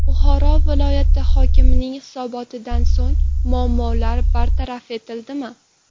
Buxoro viloyati hokimining hisobotidan so‘ng muammolar bartaraf etildimi?.